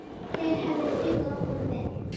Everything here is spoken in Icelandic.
Þeir hefðu dugað honum vel.